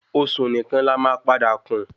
Osùn nìkan la má padà kún